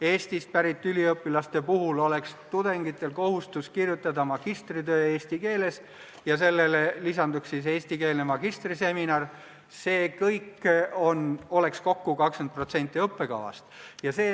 Eestist pärit üliõpilastel oleks kohustus kirjutada magistritöö eesti keeles ja sellele lisanduks eestikeelne magistriseminar – see kõik oleks kokku 20% õppekavast.